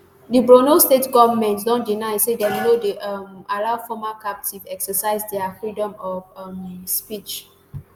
di borno state goment don deny say dem no dey um allow former captives exercise dia freedom of um speech